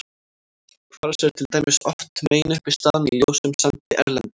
Kvars er til dæmis oft meginuppistaðan í ljósum sandi erlendis.